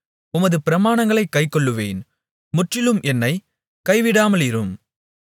உமது பிரமாணங்களைக் கைக்கொள்ளுவேன் முற்றிலும் என்னைக் கைவிடாமலிரும்